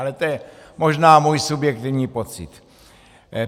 Ale to je možná můj subjektivní pocit.